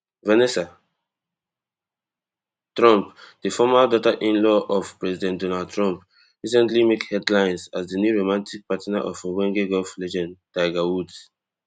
vanessa trump di former daughterinlaw of president donald trump recently make headlines as di new romantic partner of ogbonge golf legend tiger woods